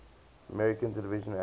american television actors